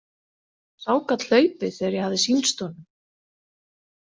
Sá gat hlaupið þegar ég hafði sýnst honum.